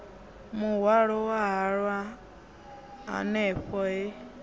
muhwalo wa halwa hanefho he